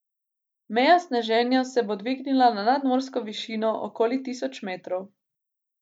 Meja sneženja se bo dvignila na nadmorsko višino okoli tisoč metrov.